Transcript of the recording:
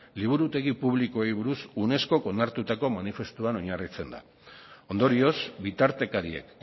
liburutegi publikoei buruz unescok onartutako manifestuan oinarritzen da ondorioz bitartekariek